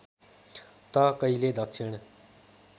त कहिले दक्षिण